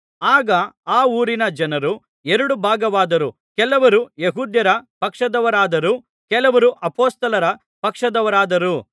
ಆಗ ಆ ಊರಿನ ಜನರು ಎರಡು ಭಾಗವಾದರೂ ಕೆಲವರು ಯೆಹೂದ್ಯರ ಪಕ್ಷದವರಾದರು ಕೆಲವರು ಅಪೊಸ್ತಲರ ಪಕ್ಷದವರಾದರು